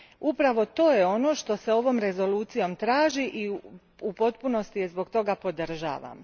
Upravo to je ono što se ovom Rezolucijom traži i u potpunosti je zbog toga podržavam.